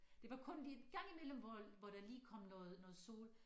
Det var kun lige gang imellem hvor hvor der lige kom noget noget sol